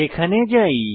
সেখানে যাই